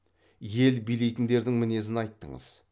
ел билейтіндердің мінезін айттыңыз